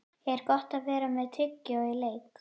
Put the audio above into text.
Er Gott að vera með tyggjó í leik?